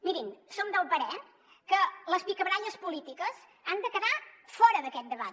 mirin som del parer que les picabaralles polítiques han de quedar fora d’aquest debat